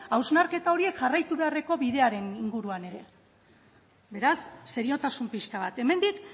hausnarketa horiek jarraitu beharreko bidearen inguruan ere beraz seriotasun pixka bat hemendik